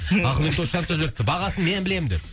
ақылбек досжанов та жіберіпті бағасын мен білемін деп